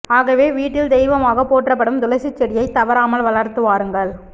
ஆகவே வீட்டில் தெய்வமாக போற்றப்படும் துளசிச் செடியை தவறாமல் வளர்த்து வாருங்கள்